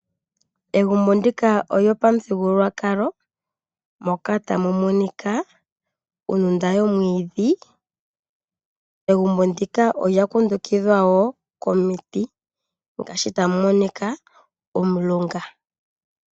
Egumbo ndika olyo pamuthigululwakalo moka tamu monika ondunda yomwiidhi . Egumbo ndika olya kundukidhwa woo komiti ngaashi tamu monika omulunga.